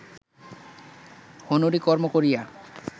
হুনুরি কর্ম করিয়া